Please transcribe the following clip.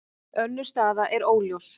Önnur staða er óljós.